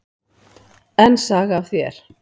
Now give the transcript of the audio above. Enn saga af þér.